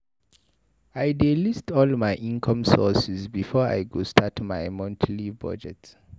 I dey list all my income sources before I go start my monthly budget.